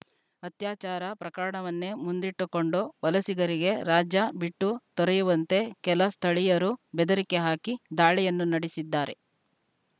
ಅತ್ಯಾಚಾರ ಪ್ರಕರಣವನ್ನೇ ಮುಂದಿಟ್ಟುಕೊಂಡು ವಲಸಿಗರಿಗೆ ರಾಜ್ಯ ಬಿಟ್ಟು ತೊರೆಯುವಂತೆ ಕೆಲ ಸ್ಥಳೀಯರು ಬೆದರಿಕೆ ಹಾಕಿ ದಾಳಿಯನ್ನೂ ನಡೆಸಿದ್ದಾರೆ